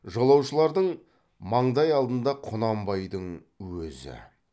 жолаушылардың маңдай алдында құнанбайдың өзі